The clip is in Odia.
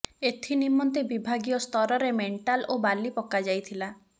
ଏଥି ନିମନ୍ତେ ବିଭାଗୀୟ ସ୍ତରରେ ମେଣ୍ଟାଲ ଓ ବାଲି ପକାଯାଇଥିଲା